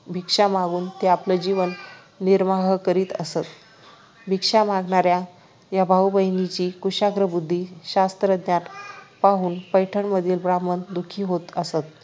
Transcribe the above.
भिक्षा मागून ते आपला जीवन निर्वाह करीत असत भिक्षा मागणाऱ्या या भाऊ बहिणींची कुशाग्र बुद्धी शास्त्र ज्ञान पाहून पैठणमधील ब्राम्हण दुःखी होत असत